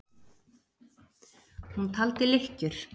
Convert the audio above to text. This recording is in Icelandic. Hún taldi lykkjur.